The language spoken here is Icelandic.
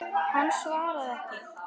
Hann svaraði ekki.